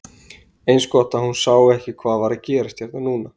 Eins gott að hún sá ekki hvað var að gerast hérna núna!